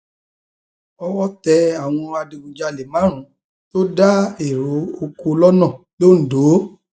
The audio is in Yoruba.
owó tẹ àwọn adigunjalè márùnún tó dá èrò oko lọnà londo